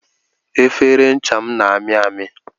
Efere ncha m na ami ami